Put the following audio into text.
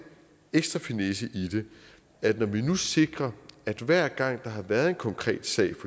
ekstra finesse i det at vi nu sikrer at hver gang der har været en konkret sag i